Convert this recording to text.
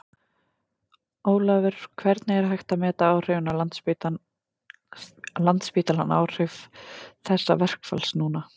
Ólafur, hvernig er hægt að meta áhrifin á Landspítalann áhrif þessa verkfalls núna?